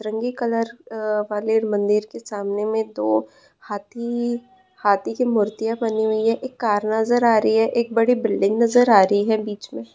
रंगी कलर उम वाले मंदिर के सामने में दो हाथी हाथी-इ की मूर्तियां बनी हुई है एक कार नजर आ रही है एक बड़ी बिल्डिंग नजर आ रही है। बीच में--